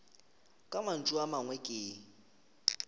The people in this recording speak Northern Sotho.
ka mantšu a mangwe ke